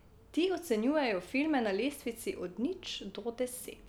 Ti ocenjujejo filme na lestvici od nič do deset.